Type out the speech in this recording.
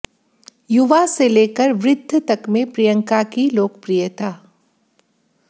युवा से लेकर वृद्ध तक में प्रियंका की लोकप्रियता